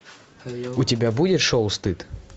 у тебя будет шоу стыд